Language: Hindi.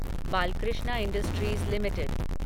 Balkrishna Industries limited